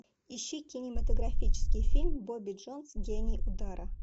ищи кинематографический фильм бобби джонс гений удара